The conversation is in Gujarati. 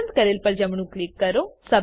પસંદ કરેલ પર જમણું ક્લિક કરો